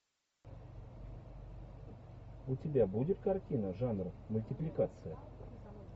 у тебя будет картина жанр мультипликация